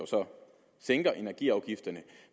sænker energiafgifterne